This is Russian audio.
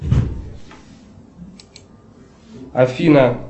афина